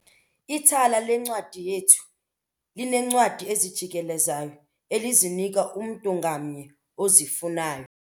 Ithala leencwadi yethu lineencwadi ezijikelezayo elizinika umntu ngamnye ozifunayo.